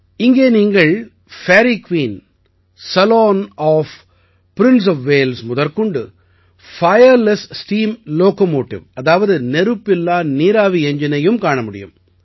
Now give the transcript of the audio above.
இங்கே நீங்கள் Fairy Queen saloon of Prince of Wales முதற்கொண்டு பயர்லெஸ் ஸ்டீம் லோகோமோட்டிவ் அதாவது நெருப்பில்லா நீராவி எஞ்ஜினையும் காண முடியும்